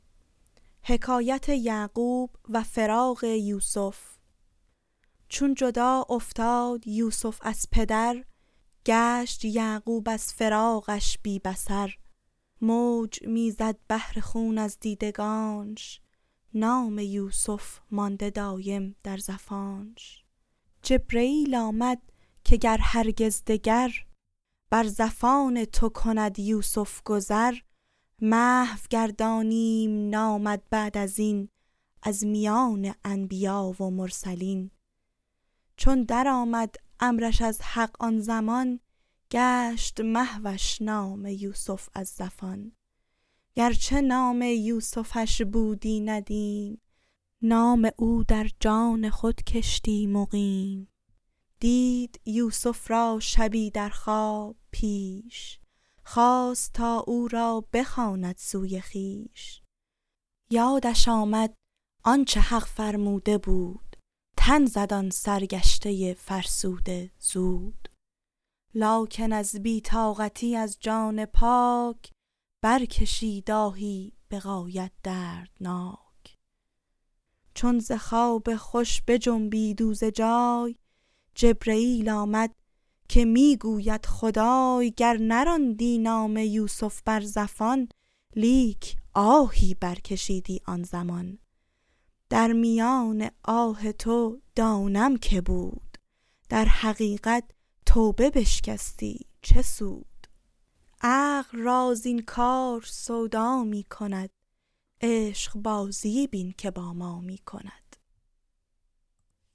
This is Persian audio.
چون جدا افتاد یوسف از پدر گشت یعقوب از فراقش بی بصر موج می زد بحر خون از دیدگانش نام یوسف مانده دایم در زفانش جبرییل آمد که هرگز گر دگر بر زفان تو کند یوسف گذر محو گردانیم نامت بعد ازین از میان انبیا و مرسلین چون درآمد امرش از حق آن زمان گشت محوش نام یوسف از زفان گر چه نام یوسفش بودی ندیم نام او در جان خود کشتی مقیم دید یوسف را شبی در خواب پیش خواست تا او را بخواند سوی خویش یادش آمد آنچ حق فرموده بود تن زد آن سرگشته فرسوده زود لکن از بی طاقتی از جان پاک برکشید آهی به غایت دردناک چون ز خواب خوش بجنبید او ز جای جبرییل آمد که می گوید خدای گر نراندی نام یوسف بر زفان لیک آهی برکشیدی آن زمان در میان آه تو دانم که بود در حقیقت توبه بشکستی چه سود عقل را زین کار سودا می کند عشق بازی بین که با ما می کند